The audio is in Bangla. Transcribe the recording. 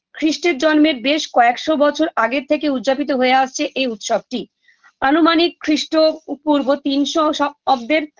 খ্রিষ্টের জন্মের বেস কয়েকশো বছর আগের থেকে উদযাপিত হয়ে আসছে এই উৎসবটি আনুমানিক খ্রিষ্ট ওপূর্ব তিনশো শ অব্দের